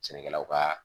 Sɛnɛkɛlaw ka